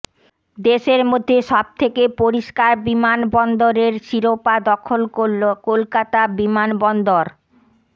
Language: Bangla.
দেশের মধ্যে সবথেকে পরিষ্কার বিমানবন্দরের শিরোপা দখল করল কলকাতা বিমানবন্দর